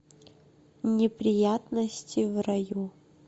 неприятности в раю